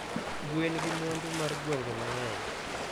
Gwen gi mwandu mar gwenge ma ng'eny